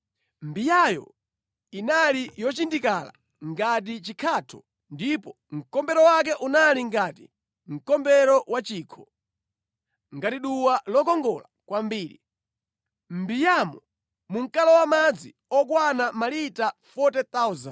Mbiyayo inali yonenepa ngati chikhatho ndipo mkombero wake unali ngati mkombero wa chikho, ngati duwa lokongola kwambiri. Mʼmbiyamo munkalowa madzi okwana malita 40,000.